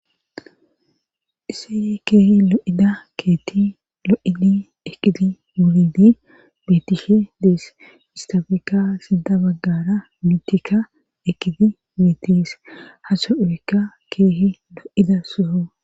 isey keehi lo7ida keetti lo7idi eqidi wulidi betishe dees istafekka sida baggara mitikka ekidi betis haso orekka keehi lo7ida suyo